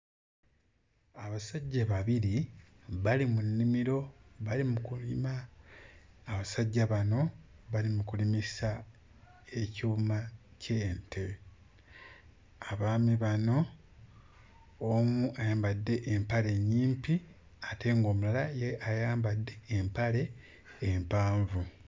Abasajja babiri bali mu nnimiro bali mu kulima, abasajja bano bali mu kulimisa ekyuma ky'ente, abaami bano omu ayambadde empale nnyimpi ate ng'omulala ye ayambadde empale empanvu.